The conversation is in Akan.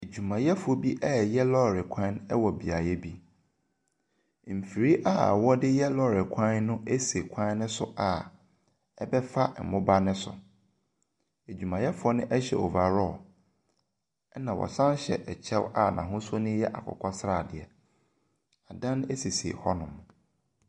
Adwuayɛfoɔ bi reyɛ lɔre kwan wɔ beaeɛ bi. Mfiri a wɔde yɛ lɔre kwan no si kwan no so a ɛbɛfa moba no so. Adwumayɛfoɔ no hyɛ overall, ɛnna wɔsan hyɛ kyɛ a n'ahosuo no yɛ akokɔ sradeɛ. Adan sisi hɔnom.